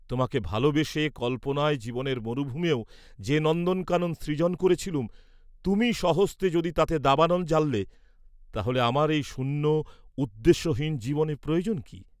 তোমাকে ভালবেসে কল্পনায় জীবনের মরুভূমেও যে নন্দনকানন সৃজন করেছিলুম, তুমিই স্বহস্তে যদি তাতে দাবানল জ্বাললে, তাহলে আমার এই শূন্য, উদ্দেশ্যহীন জীবনে প্রয়োজন কি?